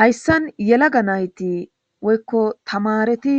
hayssan yelaga nayti woykko tamareti